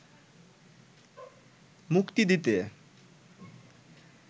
মুক্তি দিতে